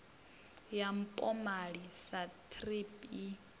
ya mpomali sa thrip i